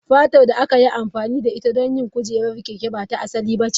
Fatar da aka yi amfani da ita don yin kujerar keke ba ta asali ba ce.